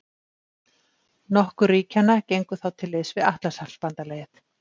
Nokkur ríkjanna gengu þá til liðs við Atlantshafsbandalagið.